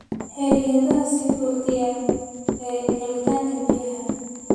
Xayiraadaha sii kordhaya ee helitaanka biyaha.